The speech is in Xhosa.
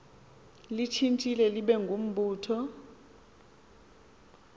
litshintshe libe ngumbutho